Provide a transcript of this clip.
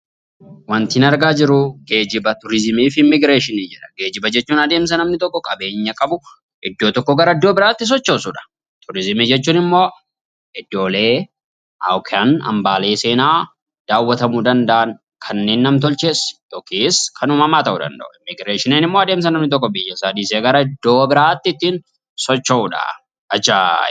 Waantin argaa jiru, geejiba turizimii fi immigireeshinii jedha. Geejiba jechuun adeemsa namni tokko qabeenya qabu, iddoo tokkoo gara iddoo biraatti sochoosudha. Turizimii jechuun immoo iddoolee yookaan hambaalee seenaa daawwatamuu danda'an kanneen nam-tolchees yookiis kan uumamaa ta'uu danda'u. Immigireeshinii immoo adeemsa namni tokko biyya isaa dhiisee gara iddoo biraatti ittiin socho'uudhaa. Ajaaiba!